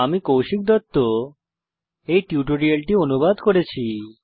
আমি কৌশিক দত্ত এই টিউটোরিয়ালটি অনুবাদ করেছি